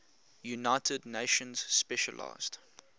united nations specialized